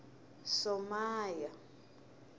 somaya